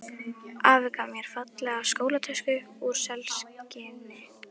Afi gaf mér fallega skólatösku úr selskinni.